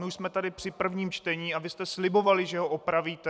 My už jsme tady při prvním čtení a vy jste slibovali, že ho opravíte.